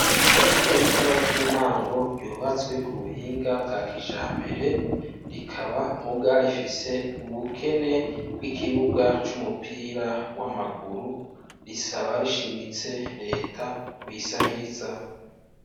Ishure ritoya ry'intango ryubatswe ku buhinga bwa kijambere, rikaba muga rifise ubukene bw'ikibuga c'umupira w'amaguru, risaba rishimitse reta kuyisahiriza.